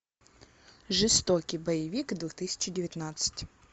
жестокий боевик две тысячи девятнадцать